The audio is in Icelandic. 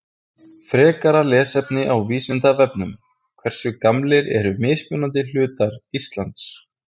Frekara lesefni á Vísindavefnum Hversu gamlir eru mismunandi hlutar Íslands?